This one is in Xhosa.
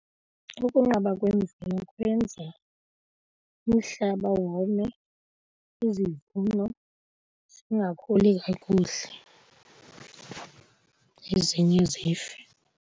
Ukunqaba kwemvula kwenza umhlaba wome, izivuno zingakhuli kakuhle ezinye zife.